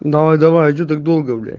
давай давай что так долго блять